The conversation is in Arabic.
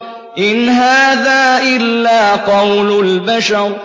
إِنْ هَٰذَا إِلَّا قَوْلُ الْبَشَرِ